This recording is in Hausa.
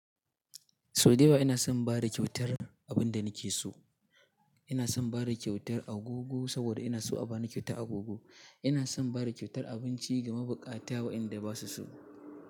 Sau da yawa ina son ba da kyautar abin da nake so. Ina son ba da kyautar agogo saboda ina so a ba ni kyautar agogo. Ina son ba da kyautar abinci ga mabukata waɗanda ba su so.